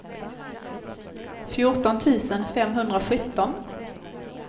fjorton tusen femhundrasjutton